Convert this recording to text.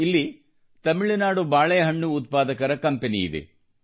ಇಲ್ಲಿ ತಮಿಳುನಾಡು ಬಾಳೆಹಣ್ಣು ಉತ್ಪಾದಕರ ಕಂಪನಿ ಇದೆ